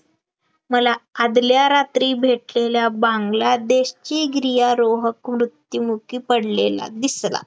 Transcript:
मला आदल्या रात्री भेटलेल्या बांगलादेशी गिर्यारोहक मृत्यूमुखी पडलेला दिसला